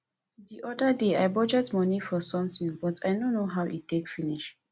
the other day i budget money for something but i no know how e take finish